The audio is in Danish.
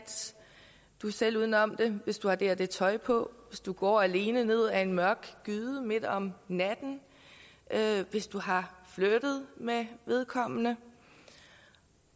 selv ude om det hvis du har det og det tøj på hvis du går alene ned ad en mørk gyde midt om natten hvis du har flirtet med vedkommende